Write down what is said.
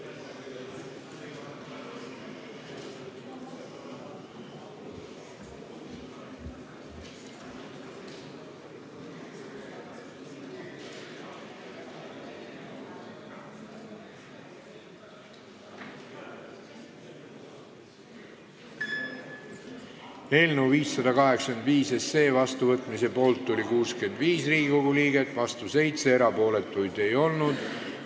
Hääletustulemused Eelnõu 585 vastuvõtmise poolt oli 65 Riigikogu liiget ja vastu 7, erapooletuid ei olnud.